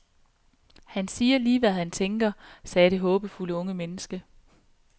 Han siger lige hvad han tænker, sagde det håbefulde unge menneske.